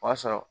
O y'a sɔrɔ